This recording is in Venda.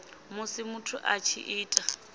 musi muthu a tshi ita